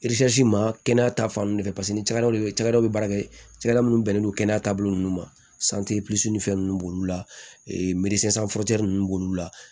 ma kɛnɛya ta fan fɛ paseke ni cakɛdaw cɛkɛdaw bɛ baara kɛ cakɛda minnu bɛnnen don kɛnɛya taabolo nunnu ma fɛn ninnu b'olu la nunnu b'olu la